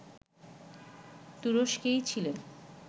তুরস্কেই ছিলেন